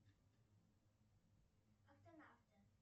автонавты